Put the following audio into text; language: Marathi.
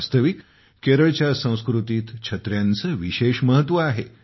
वास्तविक केरळच्या संस्कृतीत छत्र्यांचे विशेष महत्त्व आहे